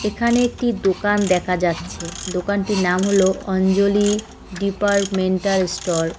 এখানে একটি দোকান দেখা যাচ্ছে দোকানটির নাম হল অঞ্জলী ডিপারমেন্টাল স্টর ।